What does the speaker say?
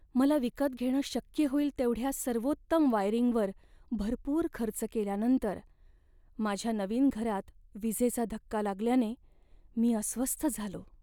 मला विकत घेणं शक्य होईल तेवढ्या सर्वोत्तम वायरिंगवर भरपूर खर्च केल्यानंतर माझ्या नवीन घरात विजेचा धक्का लागल्याने मी अस्वस्थ झालो.